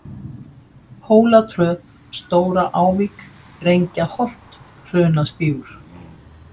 Hólatröð, Stóra-Ávík, Drengjaholt, Hrunastígur